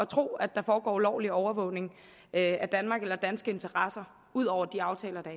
tro at der foregår ulovlig overvågning af danmark eller danske interesser ud over de aftaler